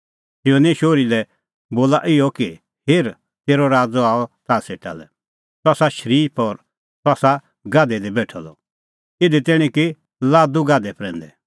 सियोने शोहरी लै बोला इहअ कि हेर तेरअ राज़ आअ ताह सेटा लै सह आसा शरीफ और सह आसा गाधै दी बेठअ द इधी तैणीं कि लादू गाधै प्रैंदै